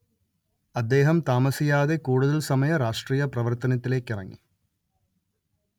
അദ്ദേഹം താമസിയാതെ കൂടുതൽ സമയ രാഷ്ട്രീയ പ്രവർത്തനത്തിലെക്ക് ഇറങ്ങി